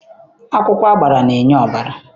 Akwụkwọ agbara na-enye ọbara.